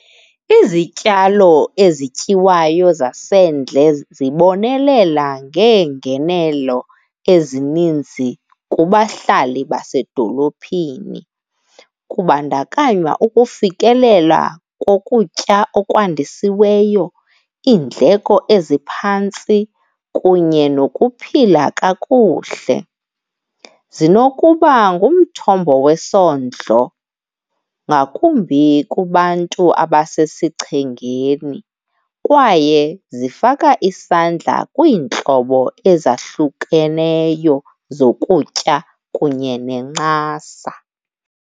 Izityalo ezityiwayo zasendle zibonelela ngeengenelo ezininzi kubahlali basedolophini. Kubandakanywa ukufikelela kokutya okwandisiweyo, iindleko eziphantsi, kunye nokuphila kakuhle. Zinokuba ngumthombo wesondlo ngakumbi kubantu abasesichengeni, kwaye zifaka isandla kwiintlobo ezahlukeneyo zokutya kunye nencasa.